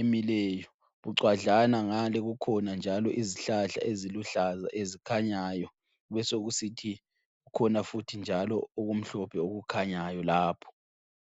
emileyo bucwadlana ngale kukhona njalo izihlahla eziluhlaza ezikhanyayo kubesokusithi kukhona futhi njalo okumhlophe okukhanyayo lapho.